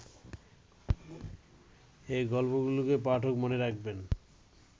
এ গল্পগুলোকে পাঠক মনে রাখবেন